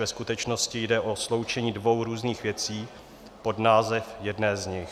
Ve skutečnosti jde o sloučení dvou různých věcí pod název jedné z nich.